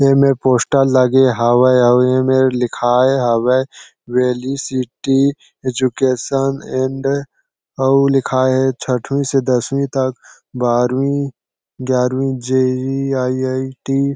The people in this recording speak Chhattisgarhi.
ए में पोस्टर लगे हवे आउ इ में लिखाये हवे वेली सिटी एजुकेशन एंड आउ लिखाये है छठवी से दसवीं तक बारहवी ग्यारहवी J E. E. I. I. T. --